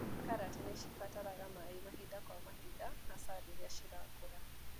Karati nĩcibataraga maĩ mahinda kwa mahinda hasa rĩria irakũra.